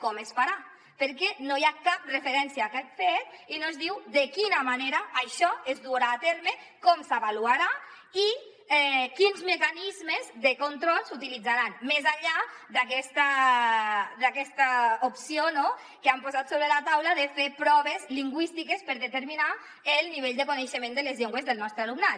com es farà perquè no hi ha cap referència a aquest fet i no es diu de quina manera això es durà a terme com s’avaluarà i quins mecanismes de control s’utilitzaran més enllà d’aquesta opció que han posat sobre la taula de fer proves lingüístiques per determinar el nivell de coneixement de les llengües del nostre alumnat